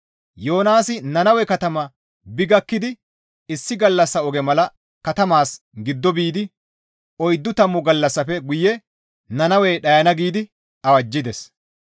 Yoonaasi Nannawe katama bi gakkidi issi gallassa oge mala katamaas giddo biidi, «Oyddu tammu gallassafe guye Nannawey dhayana» giidi awajjides.